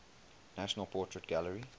national portrait gallery